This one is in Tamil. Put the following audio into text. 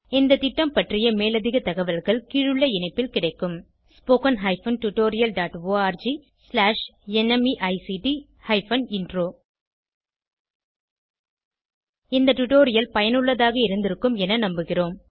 இந்த திட்டம் பற்றிய மேலதிக தகவல்கள் கீழுள்ள இணைப்பில் கிடைக்கும் spoken hyphen tutorial dot org slash NMEICT hyphen intro இந்த டுடோரியல் பயனுள்ளதாக இருந்திருக்கும் என நம்புகிறோம்